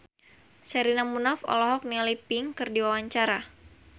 Sherina Munaf olohok ningali Pink keur diwawancara